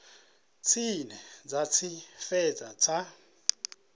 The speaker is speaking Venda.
tshine dza tshi fhedza dzi